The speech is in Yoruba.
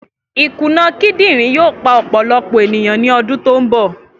Ikuna kidinrin yoo pa ọpọlọpọ eniyan ni ọdun to nbọ.